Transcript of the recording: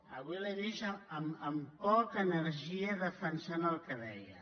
avui l’he vist amb poca energia defensant el que deia